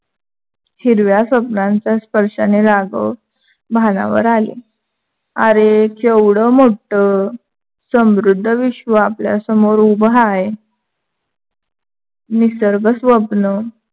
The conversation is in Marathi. हिरव्या स्वप्‍नांच्या स्पर्शाने राघव भानावर आले. आरे केवढं मोठं समृद्ध विश्व आपल्या समोर उभं हाय. निसर्ग स्वप्न